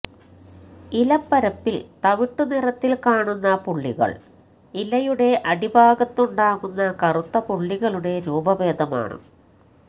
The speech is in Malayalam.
ഇലപ്പരപ്പിൽ തവിട്ടു നിറത്തിൽ കാണുന്ന പുള്ളികൾ ഇലയുടെ അടിഭാഗത്ത് ഉണ്ടാകുന്ന കറുത്ത പുള്ളികളുടെ രൂപഭേദമാണ്